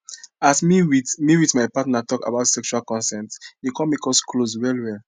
as me with me with my partner talk about sexual consent e come make us close well well